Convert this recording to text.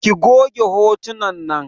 Ki goge hotunan nan!